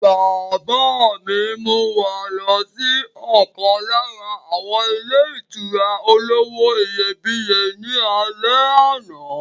Bàbá mi mú wa lọ sí ọ̀kan lára àwọn ilé ìtura olówó iyebíye ní alẹ́ àná.